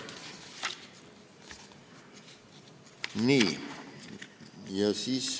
Nii.